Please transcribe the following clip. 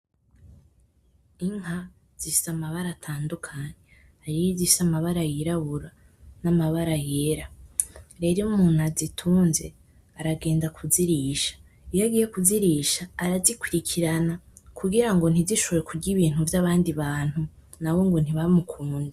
Inka zifise amabara atandukanye, hariyo izifise amabara yirabura n'amabara yera, rero iyo umuntu azitunze aragenda kuzirisha, iyo agiye kuzirisha arazikurikirana kugira ngo ntizishobore kurya ibintu vy'abandi bantu nabo ngo ntibamukunde.